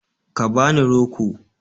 Ka ba ni roko.